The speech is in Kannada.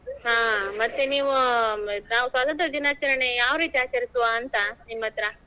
ಹಾ ಮತ್ತೇ ನೀವು ನಾವು ಸ್ವತಂತ್ರ ದಿನಾಚರಣೆ ಯಾವ್ ರೀತಿ ಆಚರಿಸುವಂತ ನಿಮ್ಮತ್ರ.